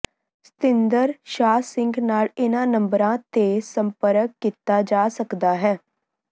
ਸਤਿੰਦਰ ਸ਼ਾਹ ਸਿੰਘ ਨਾਲ ਇਹਨਾਂ ਨੰਬਰਾਂ ਤੇ ਸੰਪਰਕ ਕੀਤਾ ਜਾ ਸਕਦਾ ਹੈ